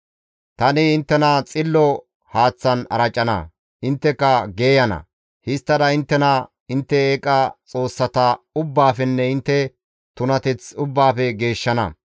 Tani inttena xillo haaththan aracana; intteka geeyana; histtada ta inttena intte eeqa xoossata ubbaafenne intte tunateth ubbaafe geeshshana.